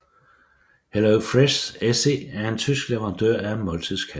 HelloFresh SE er en tysk leverandør af måltidskasser